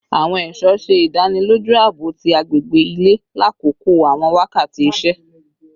Aawon esho ṣe idaniloju aabo ti agbegbe ile lakoko awọn wakati iṣẹ